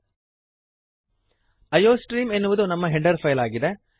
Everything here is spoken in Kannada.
ಐಯೋಸ್ಟ್ರೀಮ್ ಎನ್ನುವುದು ನಮ್ಮ ಹೆಡರ್ ಫೈಲ್ ಆಗಿದೆ